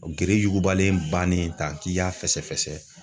Gere yugubalen bannen tan k'i y'a fɛsɛ fɛsɛ